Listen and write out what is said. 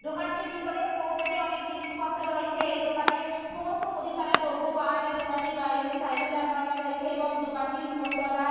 দোকানটির ভিতরে কৌটোতে অনেক জিনিসপত্র রয়েছে। এই দোকানে সমস্ত মুদিখানার দ্রব্য পাওয়া যায়। দোকানটির বাইরে একটি সাইকেল দাঁড় করানোর রয়েছে এবং দোকানটির উপর তলায়--